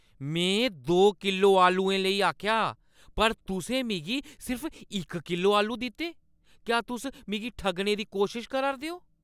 में दो किलो आलुएं लेई आखेआ हा पर तुसें मिगी सिर्फ इक किलो आलू दित्ते! क्या तुस मिगी ठग्गने दी कोशश करा 'रदे ओ?